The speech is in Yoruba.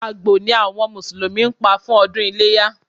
Àgbò ni àwọn Mùsùlùmí Pa fún ọdún iléyá